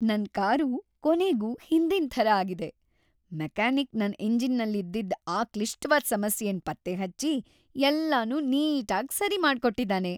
ನನ್ ಕಾರು ಕೊನೆಗೂ ಹಿಂದಿನ್‌ ಥರ ಆಗಿದೆ. ಮೆಕ್ಯಾನಿಕ್ ನನ್ ಎಂಜಿನಲ್ಲಿದ್ದಿದ್‌ ಆ ಕ್ಲಿಷ್ಟವಾದ್ ಸಮಸ್ಯೆನ ಪತ್ತೆಹಚ್ಚಿ ಎಲ್ಲನೂ ನೀಟಾಗ್ ಸರಿ ಮಾಡ್ಕೊಟ್ಟಿದಾನೆ.